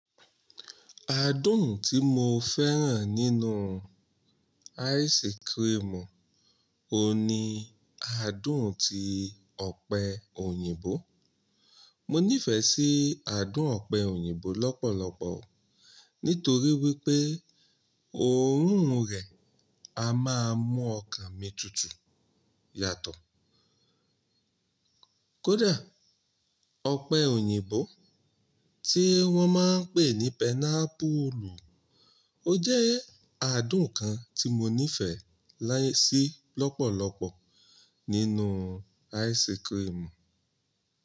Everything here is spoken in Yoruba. Adùn tí mo fẹ́ràn nínú ice cream ò ní adùn ti ọ̀pẹ òyìnbó. Mo nífẹsí adùn ọ̀pẹ òyìnbó lọ́pọ̀lọpọ̀ nítorí wípé òórùn rẹ̀ a máa mú ọkàn mi tutù yàtọ̀. Kódà ọ̀pẹ òyìnbó tí wọ́n máa ń pè ní pineapple, ó jẹ́ adùn kan tí mo nífẹ̀ẹ́ sí lọ́pọ̀lọpọ̀ nínú ice cream.